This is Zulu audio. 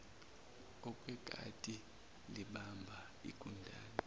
okwekati libamba igundane